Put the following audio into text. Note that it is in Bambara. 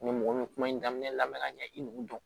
Ni mɔgɔ min kuma in daminɛ la ka ɲɛ i nugu don